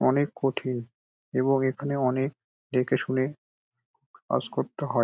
অনেক কঠিন এবং এখানে অনেক দেখেশুনে ক্লাস করতে হয় ।